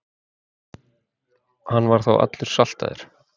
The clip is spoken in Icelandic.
Hann var þá allur saltaður.